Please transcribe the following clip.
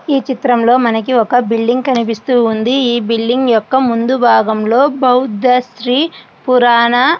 ఈ చిత్రంలో మనకి ఒక బిల్డింగ్ కనిపిస్తూ ఉంది ఈ బిల్డింగ్ యొక్క ముందు భాగంలో బౌద్ధ శ్రీ పురాణ --